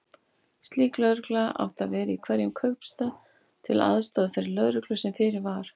Slík lögregla átti að vera í hverjum kaupstað, til aðstoðar þeirri lögreglu sem fyrir var.